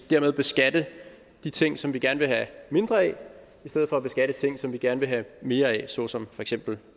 dermed beskatte de ting som vi gerne vil have mindre af i stedet for at beskatte ting som vi gerne vil have mere af såsom for eksempel